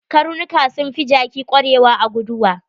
Karnuka sun fi jaki kwarewa a guduwa.